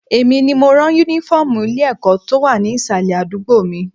Èmi ni mo máa ń ran Únífọ́ọ̀mù ilé-ẹ̀kọ́ tó wà ní ìsàlẹ̀ àdúgbò mi